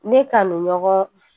Ne kanu ɲɔgɔn